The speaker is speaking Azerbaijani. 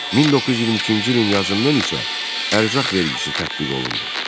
1922-ci ilin yazından isə ərzaq vergisi tətbiq olundu.